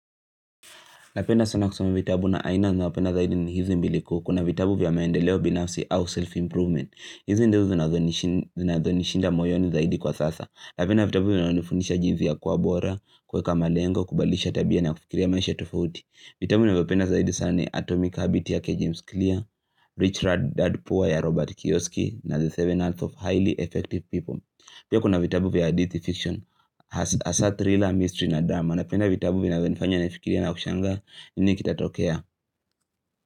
Napenda sana kusoma vitabu na aina ninayopenda zaidi ni hizi mbili kuu. Kuna vitabu vya maendeleo binafsi au self-improvement. Hizi ndiyo zinazonishinda moyoni zaidi kwa sasa. Napenda vitabu vinavyo nifundisha jinsi ya kukuwa bora, kuweka malengo, kubalisha tabia na kufikiria maisha tofauti. Vitabu ninavyopenda zaidi sana ni Atomic Habits yake James Clear, Rich Rod, Dad, Poor ya Robert Kioski, na The Seven Health of Highly Effective People. Pia kuna vitabu vya hadithi fiction, hasa thriller, mystery na drama. Napenda vitabu vinavyo nifanya nifikirie na kushangaa nini kitatokea.